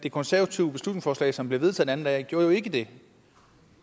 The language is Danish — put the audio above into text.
det konservative beslutningsforslag som blev vedtaget den anden dag gjorde jo ikke det